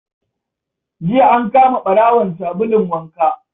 Jiya an kama ɓarawon sabulun waka